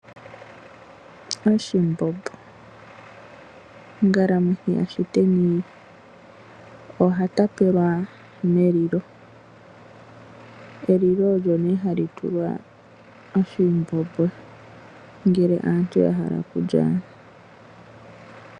Oshimbombo. Ongalamwithi ya shiteni ohatapelwa melilo ,elilo olyo nee hali tulwa oshimbombo ngele omuntu ahala okulya.